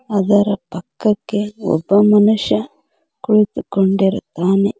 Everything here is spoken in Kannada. ಅದರ ಪಕ್ಕಕ್ಕೆ ಒಬ್ಬ ಮನುಷ್ಯ ಕುಳಿತುಕೊಂಡಿರುತ್ತಾನೆ.